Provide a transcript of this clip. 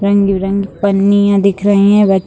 रंग-बिरंगी पन्नियां दिख रही हैं --